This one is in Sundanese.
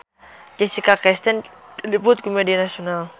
Jessica Chastain diliput ku media nasional